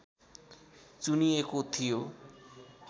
चुनिएको थियो